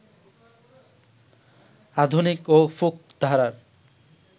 আধুনিক ও ফোক ধারার